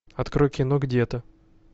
открой кино где то